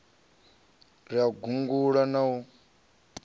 ri u gungula na u